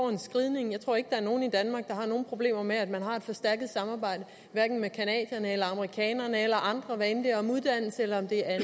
en skridning jeg tror ikke der er nogen i danmark der har nogen problemer med at man har et forstærket samarbejde med canadierne eller amerikanerne eller andre hvad enten det er om uddannelse eller det er